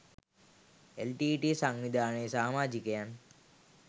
LTTE සංවිධානයේ සාමාජිකයන්